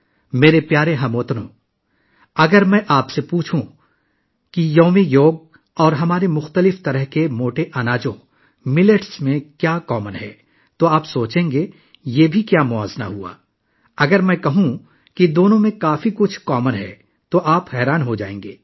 میرے پیارے ہم وطنو، اگر میں آپ سے پوچھوں کہ یوگا ڈے اور ہمارے مختلف قسم کے موٹے اناج جوار میں کیا مشترک ہے، تو آپ سوچیں گے... یہ کیا موازنہ ہے؟ اگر میں یہ کہوں کہ دونوں میں بہت کچھ مشترک ہے تو آپ حیران رہ جائیں گے